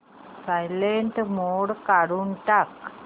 silent mode काढून टाक